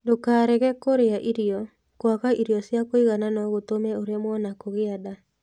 Ndũkarege kũrĩa irio; kwaga irio cia kũigana no gũtũme ũremwo nĩ kũgĩa nda.